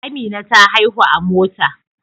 Amina ta haihu a Mota